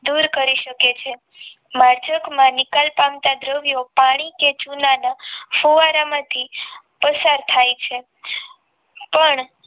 આપણે શોષણ સંબંધી જરૂરિયાતો માટે હવા પર આધારિત છીએ વાયુ પ્રદુષકો તમામ સજીવ જીવનને નુકસાન પહોંચાડે છે